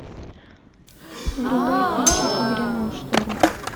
врубай кинчик и грянул шторм